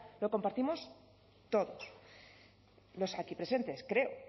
lo compartimos todos los aquí presentes creo